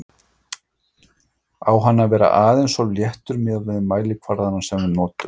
Á hann að vera aðeins of léttur miðað við mælikvarðana sem við notum?